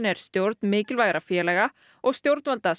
er stjórn mikilvægra félaga og stjórnvalda